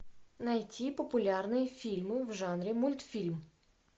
найти популярные фильмы в жанре мультфильм